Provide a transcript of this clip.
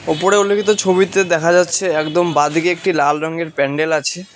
ওপরে উল্লেখিত ছবিতে দেখা যাচ্ছে একদম বাঁদিকে একটি লাল রঙের প্যান্ডেল আছে।